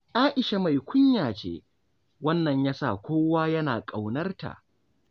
A'isha mai kunya ce, wannan ya sa kowa yana ƙaunarta.